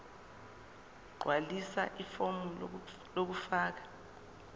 gqwalisa ifomu lokufaka